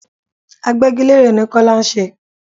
Agbégilére ni Kọ́lá ń ṣe.